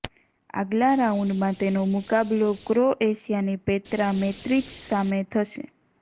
આગલા રાઉન્ડમાં તેનો મુકાબલો ક્રોએશિયાની પેત્રા મૈત્રિચ સામે થશે